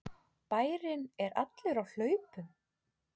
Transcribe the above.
Bærinn er allur á hlaupum!